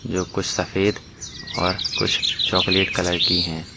जो कुछ सफेद और कुछ चॉकलेट कलर की है।